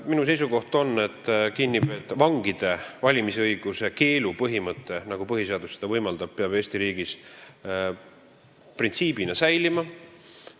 Minu seisukoht on, et vangide valimisõiguse keelu põhimõte, nagu põhiseadus seda võimaldab, peab Eesti riigis säilima.